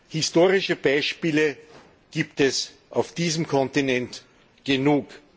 Historische Beispiele gibt es auf diesem Kontinent genug.